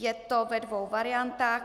Je to ve dvou variantách.